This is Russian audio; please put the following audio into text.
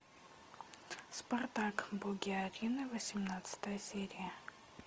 спартак боги арены восемнадцатая серия